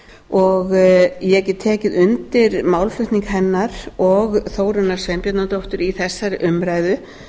og ég get tekið undir málflutning hennar og þórunnar sveinbjarnardóttur í þessari umræðu